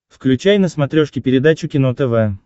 включай на смотрешке передачу кино тв